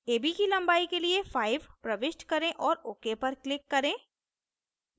ab की लंबाई के लिए 5 प्रविष्ट करें और ok पर click करें